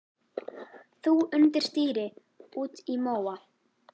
Þú undir stýri út í móa.